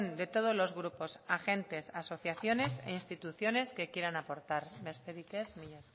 de todos los grupos agentes asociaciones e instituciones que quieran aportar besterik ez mila